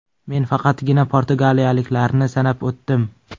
Men faqatgina portugaliyaliklarni sanab o‘tdim.